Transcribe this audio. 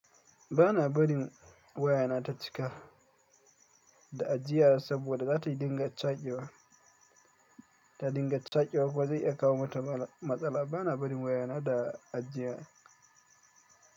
Bana bari wayana ta cika da ajiya saboda za ta dinga cakiwa, ta dinga cakiwa kuma zai iya kawo mata matsala. Bana bari wayana da ajiya.